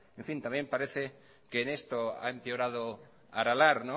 también parece que en esto ha empeorado aralar